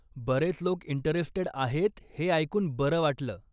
बरेच लोक इंटरेस्टेड आहेत हे ऐकून बरं वाटलं.